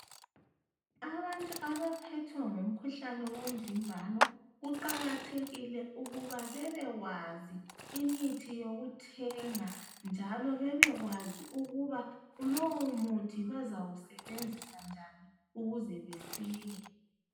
Abantu abaphethwe ngumkhuhlane wo mvimbano kuqakathekile ukuthi babekwazi imithi yokuthenga njalo bebekwazi ukuthi lowumuthi bazawu sebenzisa njani ukuze besile.